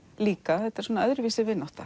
líka þetta er öðruvísi vinátta